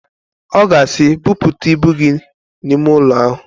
Ọ ga-asị, "Buputa ibu gị n'ime ụlọ ahụ"!